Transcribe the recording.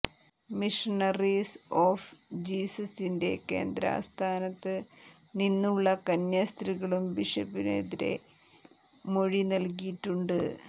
missionaries of ജീസസിന്റെ കേന്ദ്ര ആസ്ഥാനത്ത് നിന്നുള്ള കന്യാസ്ത്രീകളും ബിഷപ്പിനെതിരെ മൊഴി നല്കിയിട്ടുണ്ട്